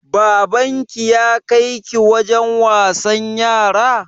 Baban ki ya kai ki wajen wasan yara?